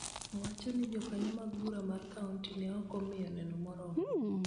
wacho ni Jokanyo mag Bura mar kaonti ne ok omiyo neno moromo.